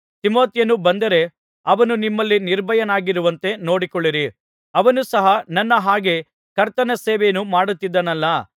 ತಿಮೊಥೆಯನು ಬಂದರೆ ಅವನು ನಿಮ್ಮಲ್ಲಿ ನಿರ್ಭಯನಾಗಿರುವಂತೆ ನೋಡಿಕೊಳ್ಳಿರಿ ಅವನು ಸಹ ನನ್ನ ಹಾಗೆಯೇ ಕರ್ತನ ಸೇವೆಯನ್ನು ಮಾಡುತ್ತಿದ್ದಾನಲ್ಲಾ